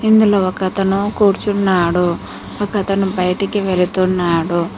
ఇందులో ఒకతను కూర్చున్నాడు. ఒకతను బయటికి వెళుతున్నాడు.